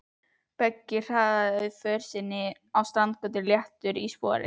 Beggi hraðar för sinni niður Strandgötuna léttari í spori.